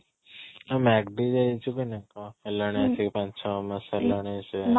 ଯାଇଛୁ କି ନାଇଁ କ'ଣ ହେଲାଣି ଆସିକି ପାଞ୍ଚ ଛଅ ମାସ ହେଲାଣି ସେ